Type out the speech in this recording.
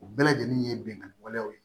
U bɛɛ lajɛlen ye binkani waleyaw ye